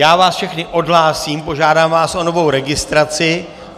Já vás všechny odhlásím, požádám vás o novou registraci.